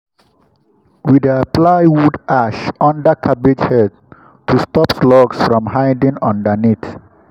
we dey apply wood ash under cabbage heads to stop slugs from hiding underneath.